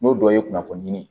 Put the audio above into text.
N'o dɔ ye kunnafoni ye